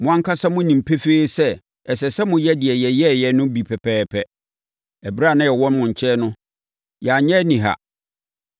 Mo ankasa monim pefee sɛ ɛsɛ sɛ moyɛ deɛ yɛyɛeɛ no bi pɛpɛɛpɛ. Ɛberɛ a na yɛwɔ mo nkyɛn no, yɛanyɛ aniha.